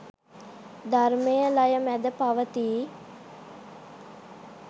ධර්මය ලය මැද පවතී.